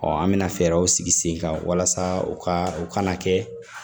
an bɛna fɛɛrɛw sigi sen kan walasa u ka u kana kɛ